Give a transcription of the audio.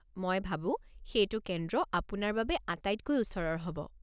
মই ভাবো সেইটো কেন্দ্ৰ আপোনাৰ বাবে আটাইতকৈ ওচৰৰ হ'ব।